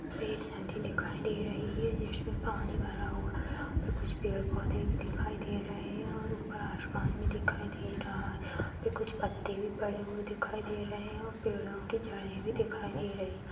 पे एक नदी दिखाई दे रही है जिसमें पानी भरा हुआ और कुछ पेड पौधे भी दिखाई दे रहे हैं और ऊपर आसमान भी दिखाई दे रहा है कुछ पत्ते भी पड़े हुए दिखाई दे रहे हैं और पेड़ों की जड़ें भी दिखाई दे रही --